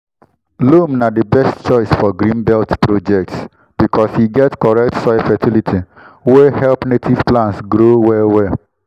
loam na di best choice for green belt projects because e get correct soil fertility wey help native plants grow well well.